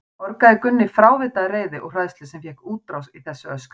orgaði Gunni frávita af reiði og hræðslu sem fékk útrás í þessu öskri.